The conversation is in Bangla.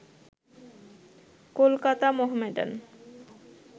কলকাতা মোহামেডান